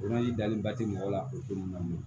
dalenba tɛ mɔgɔ la o ko nunnu na